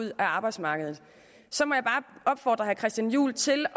ud af arbejdsmarkedet så må jeg bare opfordre herre christian juhl til